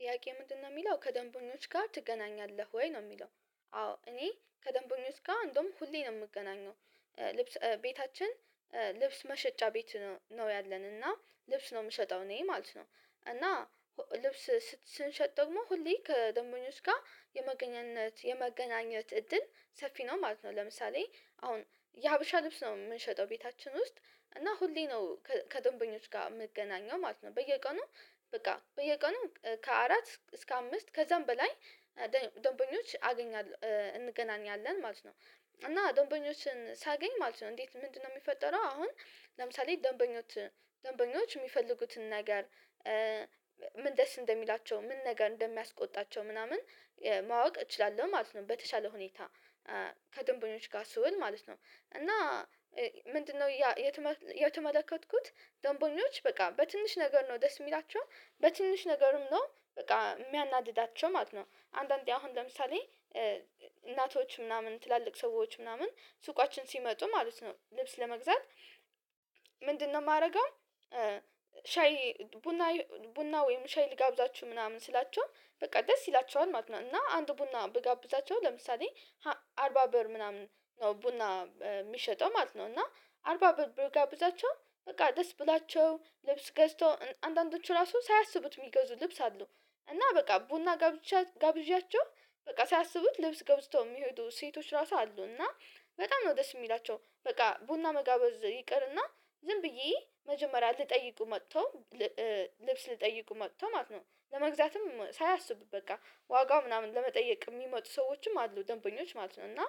ጥያቄ ምንድነው የሚለው ከደንበኞች ጋር ትገናኛለህ ወይ ነው የሚለው? አዎ እኔ ከደንበኞች ጋር እንደውም ሁሌ ነው የምገናኘው ልብስ ቤታችን ልብስ መሸጫ ቤት ነው ያለን እና ልብስ ነው የምሸጠው እኔ ማለት ነው እና ልብስ ስንሸጥ ደግሞ ሁሌ ከደንበኞች ጋር የመገናኘት የመገናኘት እድል ሰፊ ነው ማለት ነው። ለምሳሌ አሁን የሀበሻ ልብስ ነው የምንሸጠው ቤታችን ውስጥ እና ሁሌ ነው ከደንበኞች ጋር የምገናኘው ማለት ነው። በየቀኑ በቃ በየቀኑ ከአራት እስከ አምስት ከዛም በላይ ደንበኞች አገኛለሁ እንገናኛለን ማለት ነው። እና ደንበኞችን ሳገኝ ማለት ነው እንዴት ምንድነው የሚፈጠረው አሁን ለምሳሌ ደንበኞች ደንበኞች የሚፈልጉትን ነገር ምን ደስ እንደሚላቸው ምን ነገር እንደሚያስቆጣቸው ምናምን ማወቅ እችላለሁ ማለት ነው። በተሻለ ሁኔታ ከደንበኞች ጋር ስውል ማለት ነው እና ምንድን ነው የተመለከትኩት ደንበኞች በቃ በትንሽ ነገር ነው ደስ የሚላቸው በትንሽ ነገሩም ነው በቃ የሚያናድዳቸው ማለት ነው። አንዳንዴ አሁን ለምሳሌ እናቶች ምናምን ትላልቅ ሰዎች ምናምን ሱቃችን ሲመጡ ማለት ነው ልብስ ለመግዛት ምንድን ነው የማደርገው ሻይ ቡና ቡና ወይም ሻይ ልጋብዛችሁ ምናምን ስላቸው በቃ ደስ ይላቸዋል ማለት ነው። እና አንድ ቡና ብጋብዛቸው ለምሳሌ አርባ ብር ምናምን ነው ቡና የሚሸጠው ማለት ነው እና አርባ ብር ብጋብዛቸው በቃ ደስ ብላቸው ልብስ ገዝተው አንዳንዶቹ ራሱ ሳያስቡት የሚገዙ ልብስ አሉ። እና በቃ ቡና ጋብዣቸው በቃ ሳያስቡት ልብስ ገብዝተው የሚሄዱ ሴቶች ራሱ አሉ። እና በጣም ነው ደስ የሚላቸው በቃ ቡና መጋበዝ ይቅርና ዝም ብዬ መጀመሪያ ልጠይቁ መጥተው ልብስ ሊጠይቁ መጥተው ማለት ነው። ለመግዛትም ሳያስቡ በቃ ዋጋው ምናምን ለመጠየቅ የሚመጡ ሰዎችም አሉ ደንበኞች ማለት ነው። እና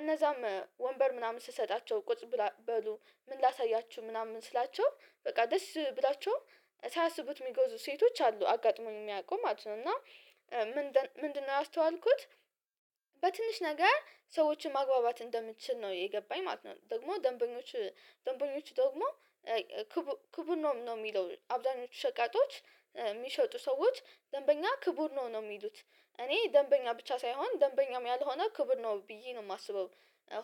እነዛም ወንበር ምናምን ስሰጣቸው ቁጭ ብላ በሉ ምን ላሳያችሁ ምናምን ስላቸው በቃ ደስ ብሏችሁ ሳያስቡት የሚጎዙ ሴቶች አሉ አጋጥሞኝ የሚያውቁ ማለት ነው። እና ምንድነው ያስተዋልኩት በትንሽ ነገር ሰዎችን ማግባባት እንደምትችል ነው የገባኝ ማለት ነው። ደግሞ ደንበኞች ደንበኞች ደግሞ ክቡር ነው የሚለው አብዛኞቹ ሸቃጦች የሚሸጡ ሰዎች ደንበኛ ክቡር ነው ነው የሚሉት እኔ ደንበኛ ብቻ ሳይሆን ደንበኛም ያልሆነ ክብር ነው ብዬ ነው የማስበው።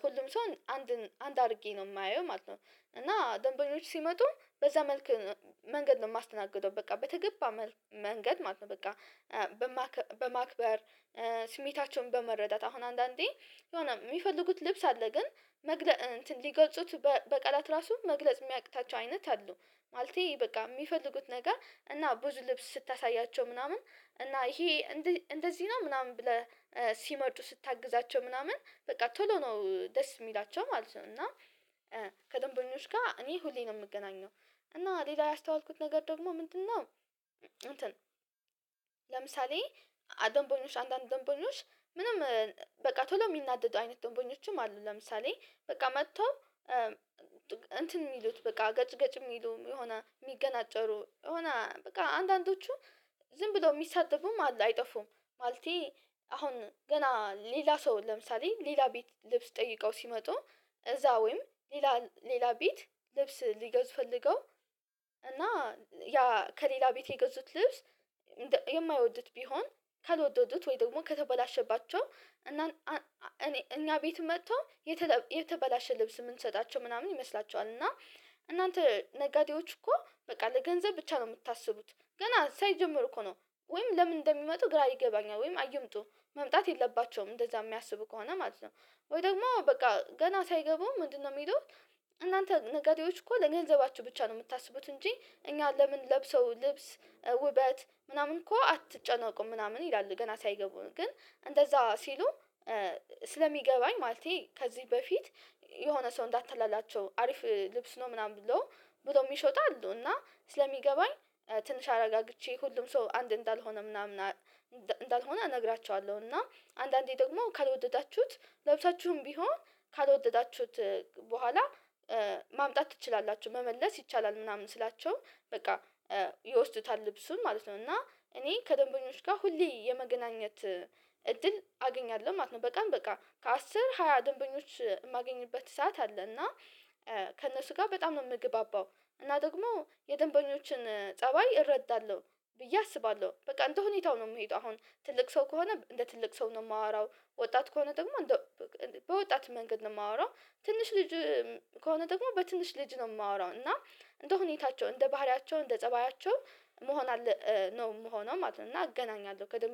ሁሉም ሰው አንድን አንድ አድርጌ ነው የማየው ማለት ነው። እና ደንበኞች ሲመጡ በዛ መልኩ መንገድ ነው የማስተናግደው በቃ በተገባ መልኩ መንገድ ማለት ነው በቃ። በማክበር ስሜታቸውን በመረዳት አሁን አንዳንዴ የሆነ የሚፈልጉት ልብስ አለ ግን መግለጽ እንትን ሊገልጹት በቀላት ራሱ መግለጽ የሚያቅታቸው አይነት አሉ። ማለቴ በቃ የሚፈልጉት ነገር እና ብዙ ልብስ ስታሳያቸው ምናምን እና ይሄ እንደዚህ ነው ምናምን ብለህ ሲመጡ ስታግዛቸው ምናምን በቃ ቶሎ ነው ደስ የሚላቸው ማለት ነው። እና ከደንበኞች ጋር እኔ ሁሌ ነው የምገኘው። እና ሌላ ያስተዋልኩት ነገር ደግሞ ምንድነው? እንትን ለምሳሌ ደንበኞች አንዳንድ ደንበኞች ምንም በቃ ቶሎ የሚናደዱ አይነት ደንበኞችም አሉ። ለምሳሌ በቃ መጥቶ እንትን የሚሉት በቃ ገጭ ገጭ የሚሉ የሆነ ሚገናጨሩ የሆነ በቃ አንዳንዶቹ ዝም ብለው የሚሳደቡም አለ አይጠፉም። ማለቴ አሁን ገና ሌላ ሰው ለምሳሌ ሌላ ቤት ልብስ ጠይቀው ሲመጡ እዛ ወይም ሌላ ሌላ ቤት ልብስ ሊገዙ ፈልገው እና ያ ከሌላ ቤት የገዙት ልብስ የማይወዱት ቢሆን ካልወደዱት ወይ ደግሞ ከተበላሸባቸው እና እኔ እኛ ቤት መጥቶ የተበላሸ ልብስ የምንሰጣቸው ምናምን ይመስላቸዋል እና እናንተ ነጋዴዎች እኮ በቃ ለገንዘብ ብቻ ነው የምታስቡት። ገና ሳይጀመር እኮ ነው ወይም ለምን እንደሚመጡ ግራ ይገባኛል ወይም አይምጡ መምጣት የለባቸውም እንደዛ የሚያስቡ ከሆነ ማለት ነው። ወይ ደግሞ በቃ ገና ሳይገቡ ምንድነው የሚሉት? እናንተ ነጋዴዎች እኮ ለገንዘባቸው ብቻ ነው የምታስቡት እንጂ እኛ ለምን ለብሰው ልብስ ውበት ምናምን እኮ አትጨነቁም ምናምን ይላል ገና ሳይገቡም ግን እንደዛ ሲሉ። ስለሚገባኝ ማለቴ ከዚህ በፊት የሆነ ሰው እንዳትታለላቸው አሪፍ ልብስ ነው ምናምን ብሎ ብሎ የሚሸጡሉ እና ስለሚገባኝ። ትንሽ አረጋግቼ ሁሉም ሰው አንድ እንዳልሆነ ምናምን እንዳልሆነ እነግራቸዋለሁ። እና አንዳንዴ ደግሞ ካልወደዳችሁት ለብሳችሁም ቢሆን ካልወደዳችሁት በኋላ ማምጣት ትችላላችሁ መመለስ ይቻላል ምናምን ስላቸው በቃ ይወስዱታል ልብሱም ማለት ነው። እና እኔ ከደንበኞች ጋር ሁሌ የመገናኘት እድል አገኛለሁ ማለት ነው። በቀን በቃ አስር ሃያ ደንበኞች የማገኝበት ሰዓት አለ። እና ከእነሱ ጋር በጣም ነው የምግባባው። እና ደግሞ የደንበኞችን ፀባይ እረዳለሁ። ብዬ አስባለሁ በቃ እንደ ሁኔታው ነው የምሄደው። አሁን ትልቅ ሰው ከሆነ እንደ ትልቅ ሰው ነው የማወራው። ወጣት ከሆነ ደግሞ በወጣት መንገድ ነው የማወራው። ትንሽ ልጅ ከሆነ ደግሞ በትንሽ ልጅ ነው የማወራው። እና እንደ ሁኔታቸው እንደ ባህሪያቸው እንደ ፀባያቸው መሆን አለ ነው ምሆነው ማለት ነው። እና አገናኛለሁ